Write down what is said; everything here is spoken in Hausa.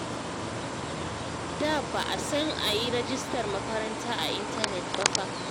Da ba a san a yi rajistar makaranta a intanet ba fa